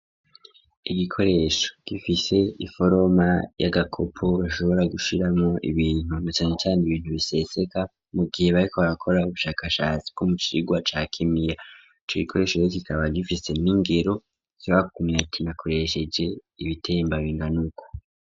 Igikoresho gifise iforoma y'agakopo bashobora gushiramo ibintu nacane cane ibintu biseseka mu gihe bareko barakora ubushakashati bw'umucirwa cakimiya ico gikoresho kikaba gifise n'ingero zibakumye akinakoresheje ibitembabinda nuko.